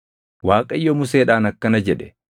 Waaqayyo Museedhaan akkana jedhe;